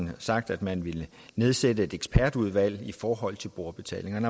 har sagt at man vil nedsætte et ekspertudvalg i forhold til brugerbetaling men